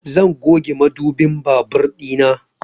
Zan goge mudubin babur ɗina